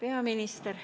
Hea peaminister!